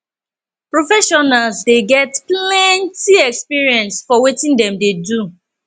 professionals dey get plenty experience for wetin dem dey do